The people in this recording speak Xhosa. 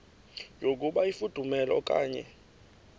yokuba ifudumele okanye